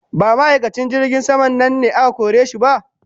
Ba ma'aikacin jirgin sama nan ne aka kore shi ba?